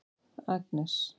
Agnes